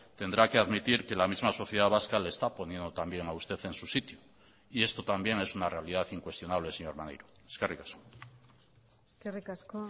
tendrá que admitir que la misma sociedad vasca le está poniendo también a usted en su sitio y esto también es una realidad incuestionable señor maneiro eskerrik asko eskerrik asko